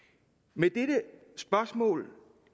med dette spørgsmål